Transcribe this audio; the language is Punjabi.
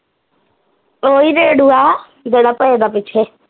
ਓਹੀ ਰੇਡਊਆ ਜਿਹੜਾ ਪਏ ਦਾ ਪਿੱਛੇ